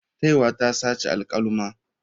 Taiwa ta saci alkaluma.